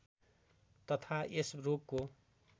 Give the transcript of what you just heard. तथा यस रोगको